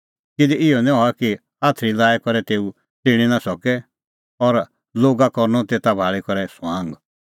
किधी इहअ निं हआ कि आथरी लाई करै तेऊ च़िणीं निं सके और लोगा करनअ तेता भाल़ी करै ठठअ